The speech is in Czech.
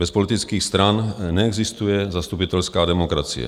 Bez politických stran neexistuje zastupitelská demokracie.